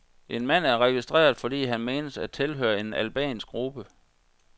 En mand er registreret, fordi han menes at tilhøre en albansk gruppe.